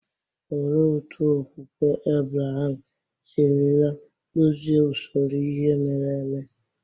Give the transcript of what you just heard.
Olee otú okwukwe Ebreham sirila kpụzie usoro ihe mere eme?